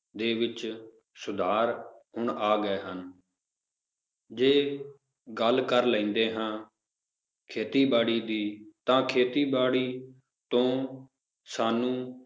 ਦੇ ਵਿੱਚ ਸੁਧਾਰ ਹੁਣ ਆ ਗਏ ਹਨ ਜੇ ਗੱਲ ਕਰ ਲੈਂਦੇ ਹਾਂ ਖੇਤੀਬਾੜੀ ਦੀ ਤਾਂ ਖੇਤੀਬਾੜੀ ਤੋਂ ਸਾਨੂੰ